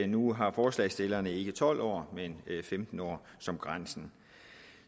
nu har forslagsstillerne ikke tolv år men femten år som grænse